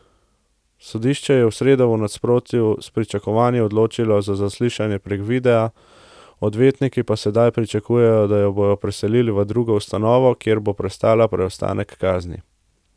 Sodišče se je v sredo v nasprotju s pričakovanji odločilo za zaslišanje prek videa, odvetniki pa sedaj pričakujejo, da jo bodo preselili v drugo ustanovo, kjer bo prestala preostanek kazni.